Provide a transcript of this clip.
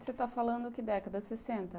Você está falando que década, sessenta?